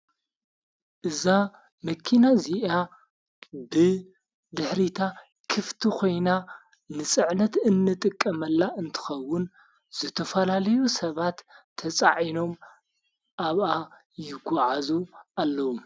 እዛ መኪና ዚኣ ብ ድሕሪታ ክፍቲ ኾይና ንፅዕነት እንጥቀመላ እንትኸውን ዘተፈላለዩ ሰባት ተፃዒኖም ኣብኣ ይጐዓዙ ኣለዉ።